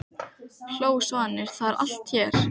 hló Svanur, það er allt hér!